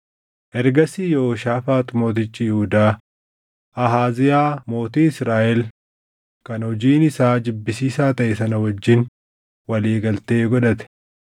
Ergasii Yehooshaafaax mootichi Yihuudaa, Ahaaziyaa mootii Israaʼel kan hojiin isaa jibbisiisaa taʼe sana wajjin walii galtee godhate.